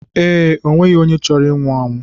Ee, o nweghị onye chọrọ inwu anwụ.